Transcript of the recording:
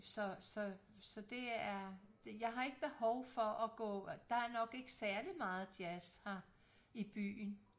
Så så så det er jeg har ikke behov for at gå der er nok ikke særlig meget jazz her i byen